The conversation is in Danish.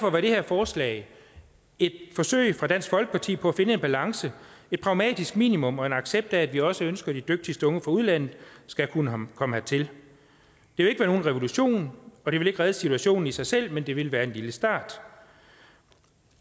var det her forslag et forsøg fra dansk folkeparti på at finde en balance et pragmatisk minimum og en accept af at vi også ønsker at de dygtigste unge fra udlandet skal kunne komme hertil det vil ikke være nogen revolution og det vil ikke redde situationen i sig selv men det vil være en lille start